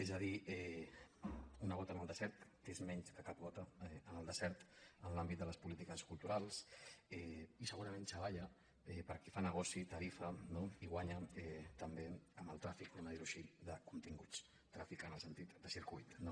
és a dir una gota en el desert que és més que cap gota en el desert en l’àmbit de les polítiques culturals i segurament xavalla per a qui fa negoci tarifa no i guanya també amb el tràfic diguem ho així de continguts tràfic en el sentit de circuit no